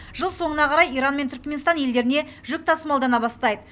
жыл соңына қарай иран мен түрікменстан елдеріне жүк тасымалдана бастайды